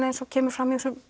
eins og kemur fram í þessum